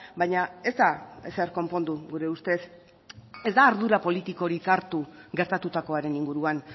baina ez da ezer konpondu gure ustez ez da ardura politikorik hartu gertatutakoaren inguruan